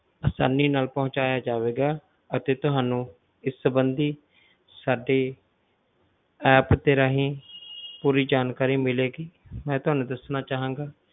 ਆਸਾਨੀ ਨਾਲ ਪਹੁੰਚਾਇਆ ਜਾਵੇਗਾ ਅਤੇ ਤੁਹਾਨੂੰ ਇਸ ਸੰਬੰਧੀ ਸਾਡੇ app ਦੇ ਰਾਹੀਂ ਪੂਰੀ ਜਾਣਕਾਰੀ ਮਿਲੇਗੀ ਮੈਂ ਤੁਹਾਨੂੰ ਦੱਸਣਾ ਚਾਹਾਂਗਾ,